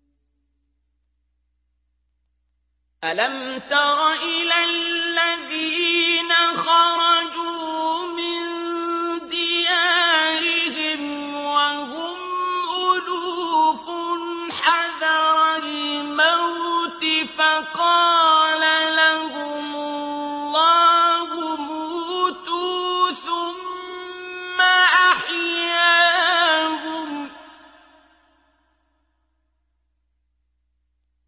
۞ أَلَمْ تَرَ إِلَى الَّذِينَ خَرَجُوا مِن دِيَارِهِمْ وَهُمْ أُلُوفٌ حَذَرَ الْمَوْتِ فَقَالَ لَهُمُ اللَّهُ مُوتُوا ثُمَّ أَحْيَاهُمْ ۚ